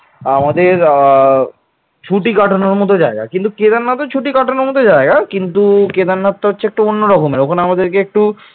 আমাদের আহ ছুটি কাটানোর মত জায়গা কিন্তু কেদারনাথ ও ছুটি কাটানোর মত জায়গা কিন্তু কেদারনাথ টা হচ্ছে একটু অন্য রকম তখন আমাদেরকে একটু